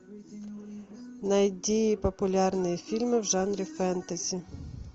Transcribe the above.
найди популярные фильмы в жанре фэнтези